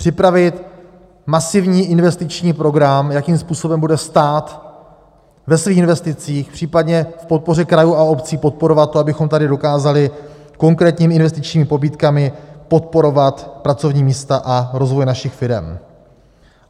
Připravit masivní investiční program, jakým způsobem bude stát ve svých investicích, případně v podpoře krajů a obcí podporovat to, abychom tady dokázali konkrétními investičními pobídkami podporovat pracovní místa a rozvoj našich firem.